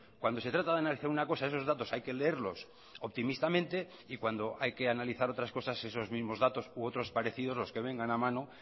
cuando se trata de analizar una cosa esos datos hay que leerlos optimistamente y cuando hay que analizar otras cosas esos mismos datos u otros parecidos los que vengan a mano